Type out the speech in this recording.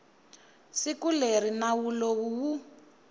siku leri nawu lowu wu